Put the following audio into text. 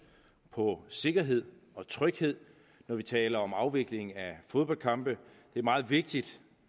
på sikkerhed og tryghed når vi taler om afvikling af fodboldkampe det er meget vigtigt